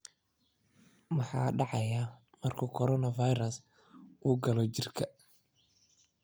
Maxaa dhacaya marka coronavirus uu galo jirka?